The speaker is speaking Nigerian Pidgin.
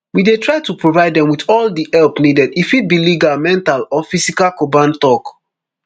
we dey try to provide dem wit all di help needed e fit be legal mental or physical korban tok